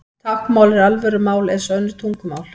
Táknmál er alvöru mál eins og önnur tungumál.